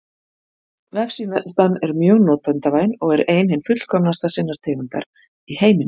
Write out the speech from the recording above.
Vefsíðan er mjög notendavæn og er ein hin fullkomnasta sinnar tegundar í heiminum.